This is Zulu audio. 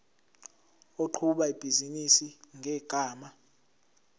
oqhuba ibhizinisi ngegama